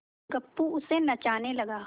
गप्पू उसे नचाने लगा